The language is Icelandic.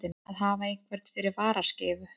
Að hafa einhvern fyrir varaskeifu